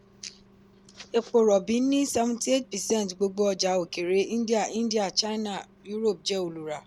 epo rọ̀bì ni seventy-eight percent gbogbo ọjà òkèèrè india india china europe jẹ́ olùrà.